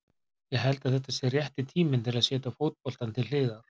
Ég held að þetta sé rétti tíminn til að setja fótboltann til hliðar.